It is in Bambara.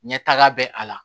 Ɲɛtaga bɛ a la